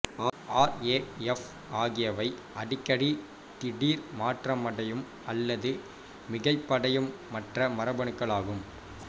R A F ஆகியவை அடிக்கடி திடீர் மாற்றமடையும் அல்லது மிகைப்படையும் மற்ற மரபணுக்கள் ஆகும்